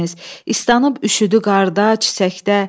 İstənib üşüdü qarda, çiçəkdə.